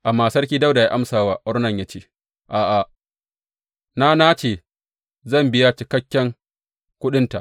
Amma Sarki Dawuda ya amsa wa Ornan ya ce, A’a, na nace zan biya cikakken kuɗinta.